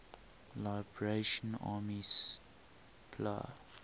liberation army spla